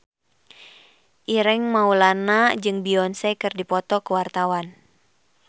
Ireng Maulana jeung Beyonce keur dipoto ku wartawan